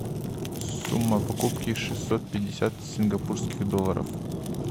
сумма покупки шестьсот пятьдесят сингапурских долларов